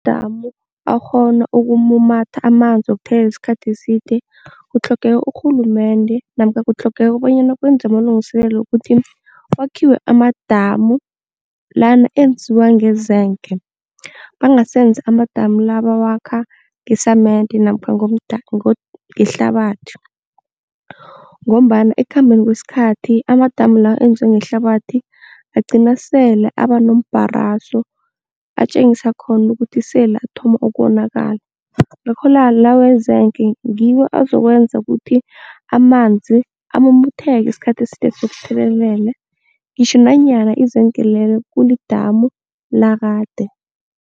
damu akghona ukumumatha amanzi wokuthelelela isikhathi eside kutlhogeka urhulumende namkha kutlhogeka bonyana kwenzwe amalungiselelo wokuthi kwakhiwe amadamu lana enziwa ngezenke bangasenzi amadamu la abawakha ngesamende namkha ngehlabathi ngombana ekukhambeni kwesikhathi amadamu la enziwe ngehlabathi agcine sele abanombharaso atjengise khona ukuthi sele athoma ukonakala la wenzeke ngiwo azokwenza ukuthi amanzi amumatheke isikhathi eside sokuthelelele ngitjho nanyana izenke lelo kulidamu lakade.